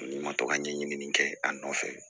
N'i ma to ka ɲɛɲini kɛ a nɔfɛ